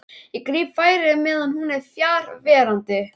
Ég gríp færið meðan hún er fjarverandi.